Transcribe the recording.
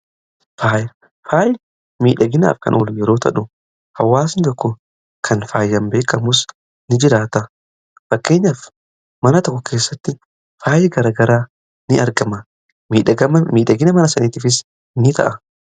faayi miidhaginaaf kan yeroo ta'u hawaasi tokko kan fayaaaman beekamus in jiraata fakkeenyaaf mana tokko keessatti faayi garagaraa in argama miidhagina mana saniitifis ni ta'a.